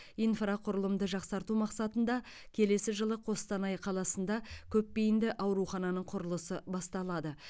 инфрақұрылымды жақсарту мақсатында келесі жылы қостанай қаласында көпбейінді аурухананың құрылысы басталады